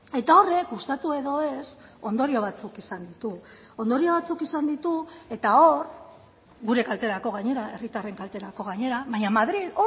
eta horrek gustatu edo ez ondorio batzuk izan ditu ondorio batzuk izan ditu eta hor gure kalterako gainera herritarren kalterako gainera baina madril